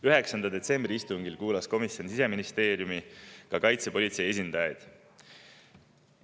9. detsembri istungil kuulas komisjon Siseministeeriumi ja kaitsepolitsei esindajaid.